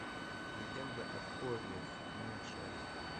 легенда о корре седьмая часть